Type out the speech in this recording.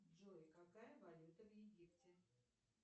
джой какая валюта в египте